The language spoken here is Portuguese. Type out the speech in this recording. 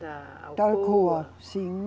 Da Alcoa, sim.